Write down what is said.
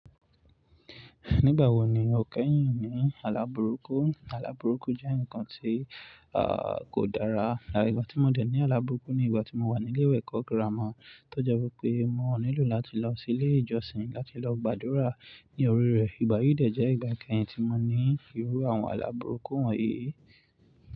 Nígbà wo ni o kẹ́yìn ní àla buruku? Àla buruku jẹ́ ǹnkan tí, kò dára. Ìgbà tí mo dè ní àla buruku ni ìgbà tí mo wà ní ilé ìwé ẹ̀kọ́ gírámà, tó je wí pé mo nílò láti lọ sí ilé ìjọsìn láti lọ gbàdúrà ní orí rẹ̀. Ìgbà yìí dè jẹ́ ìgbà kẹ́yìn tí mo ní irú àwọn àla buruku wọ̀nyí.